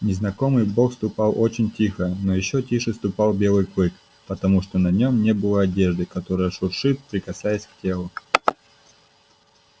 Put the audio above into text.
незнакомый бог ступал очень тихо но ещё тише ступал белый клык потому что на нем не было одежды которая шуршит прикасаясь к телу